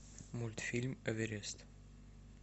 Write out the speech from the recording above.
мультфильм эверест